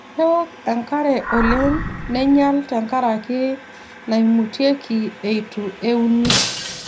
Keok enkare oleng neinyal tenkaraki naimutieki eitu euni.